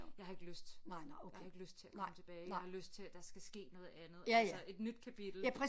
Jeg har ikke lyst jeg har ikke lyst til at komme tilbage jeg har lyst til at der skal ske noget andet altså et nyt kapitel